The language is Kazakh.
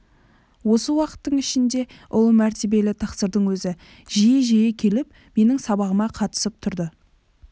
осы уақыттың ішінде ұлы мәртебелі тақсырдың өзі жиі-жиі келіп менің сабағыма қатысып тұрды